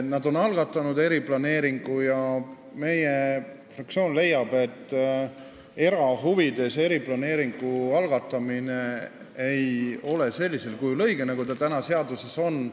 Nad on algatanud eriplaneeringu, aga meie fraktsioon leiab, et erahuvides eriplaneeringu algatamine ei ole niisugusel kujul, nagu see seaduses on, õige.